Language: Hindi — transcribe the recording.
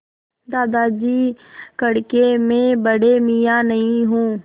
दादाजी कड़के मैं बड़े मियाँ नहीं हूँ